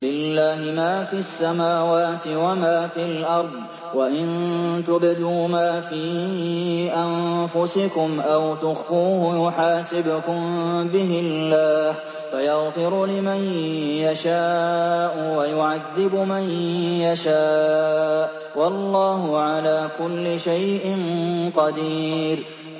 لِّلَّهِ مَا فِي السَّمَاوَاتِ وَمَا فِي الْأَرْضِ ۗ وَإِن تُبْدُوا مَا فِي أَنفُسِكُمْ أَوْ تُخْفُوهُ يُحَاسِبْكُم بِهِ اللَّهُ ۖ فَيَغْفِرُ لِمَن يَشَاءُ وَيُعَذِّبُ مَن يَشَاءُ ۗ وَاللَّهُ عَلَىٰ كُلِّ شَيْءٍ قَدِيرٌ